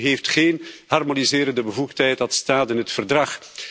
De EU heeft geen harmoniserende bevoegdheid, dat staat in het Verdrag.